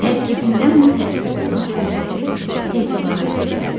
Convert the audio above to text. Tərkibində m hərfi olan sözləri hecalara bölək.